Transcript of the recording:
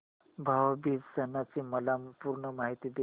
भाऊ बीज सणाची मला पूर्ण माहिती दे